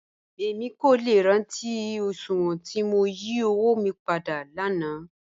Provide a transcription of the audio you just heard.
Èmi kò lẹ́ rántí oṣùwọn tí mó yí ọ̀wọ̀ mí pádà láńà